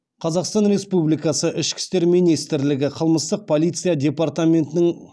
қазақстан республикасы ішкі істер министрлігі қылмыстық полиция департаментінің